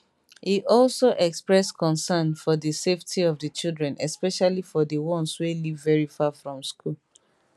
e also express concern for di safety of di children especially for di ones wey live very far from school